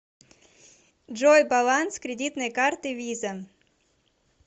джой баланс кредитной карты виза